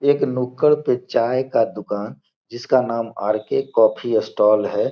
एक नुक्कड़ पे चाय का दुकान है जिसका नाम आर.के. कॉफ़ी स्टॉल है।